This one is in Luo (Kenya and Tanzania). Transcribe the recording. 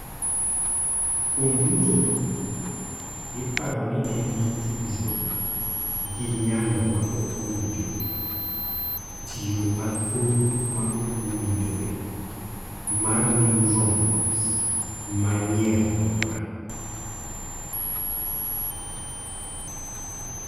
Kuom duto, iparo ni en gi tudruok gi nyalo ma ok owinjore (tiyo mathoth ma ok owinjore) mar neurons ma ni e alwora.